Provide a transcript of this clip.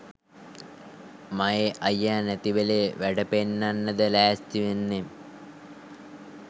මයේ අයියා නැතිවෙලේ වැඩ පෙන්නන්නද ලැස්තිවෙන්නේ